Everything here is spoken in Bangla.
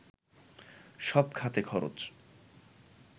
সব খাতে খরচ